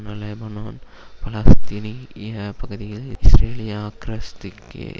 Lebanon பாலஸ்தினி ய பகுதிகளில் இஸ்ரேலிய அக்கிரஸ்திக்கு